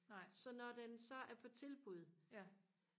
så når den så er på tilbud